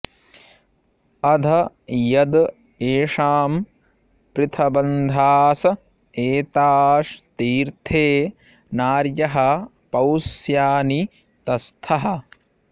अध॒ यद् ए॑षाम पृथब॒न्धास॒ एता॑स् ती॒र्थे नार्यः पौस्या॑नि त॒स्थः